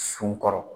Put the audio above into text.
Sun kɔrɔ